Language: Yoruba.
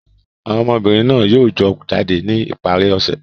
Àwọn ọmọbìnrin náà yóò jọ jáde ní ìparí ọ̀sẹ̀.